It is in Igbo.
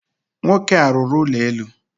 Nwoke a rụrụ ụlọ elu.